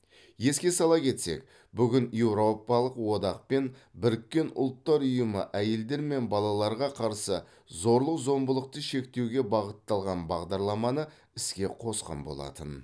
еске сала кетсек бүгін еуропалық одақ пен біріккен ұлттар ұйымы әйелдер мен балаларға қарсы зорлық зомбылықты шектеуге бағытталған бағдарламаны іске қосқан болатын